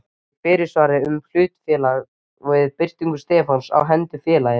í fyrirsvari fyrir hlutafélag við birtingu stefnu á hendur félaginu.